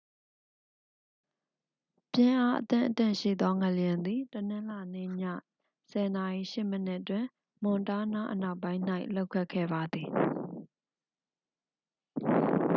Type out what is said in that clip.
ပြင်းအားအသင့်အတင့်ရှိသောငလျင်သည် တနင်္လာနေ့ ည 10:08 တွင် မွန်တားနား အနောက်ပိုင်း၌ လှုပ်ခတ်ခဲ့ပါသည်